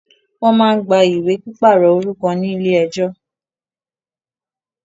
Wọ́n má ń gba ìwé pípàrọ̀ orúkọ ní ilé ẹjọ́